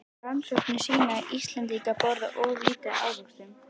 Rannsóknir sýna að Íslendingar borða of lítið af ávöxtum.